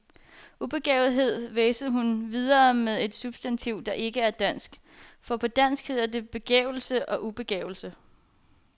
Ubegavethed, hvæsede hun videre med et substantiv, der ikke er dansk, for på dansk hedder det begavelse og ubegavelse.